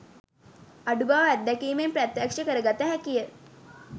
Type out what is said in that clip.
අඩු බව අත්දැකීමෙන් ප්‍රත්‍යක්ෂ කරගත හැකිය